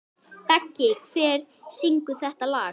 Beggi, hver syngur þetta lag?